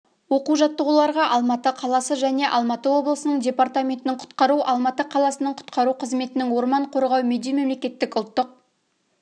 оқу-жаттығуларға алматы қаласы және алматы облысының департаментінің құтқару алматы қаласының құтқару қызметінің орман қорғау медеу мемлекеттік ұлттық